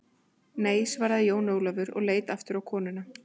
Nei, svaraði Jón Ólafur og leit aftur á konuna.